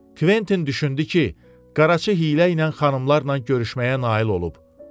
Kventin düşündü ki, Qaraçı hiylə ilə xanımlarla görüşməyə nail olub.